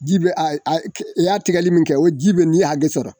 Ji be a y a ke i y'a tigɛli min kɛ o ji be n'i hage sɔrɔ